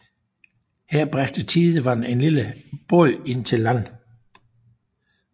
Her bragte tidevandet en lille båd ind til land